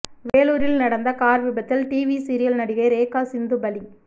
வேலூரில் நடந்த கார் விபத்தில் டிவி சீரியல் நடிகை ரேகா சிந்து பலி